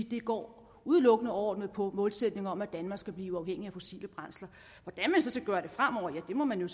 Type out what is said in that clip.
det går udelukkende overordnet på en målsætning om at danmark skal blive uafhængig af fossile brændsler hvordan man så skal gøre det fremover ja det må man